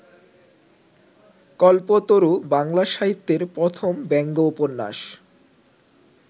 কল্পতরু বাংলা সাহিত্যের প্রথম ব্যঙ্গ উপন্যাস।